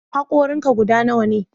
Hankorin ka guda nawa ne?